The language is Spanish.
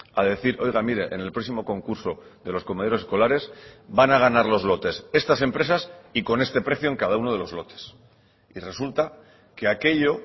a decir oiga mire en el próximo concurso de los comedores escolares van a ganar los lotes estas empresas y con este precio en cada uno de los lotes y resulta que aquello